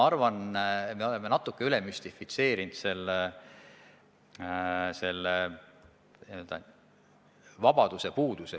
Arvan, et me oleme selle vabaduse puuduse natuke ülemüstifitseerinud.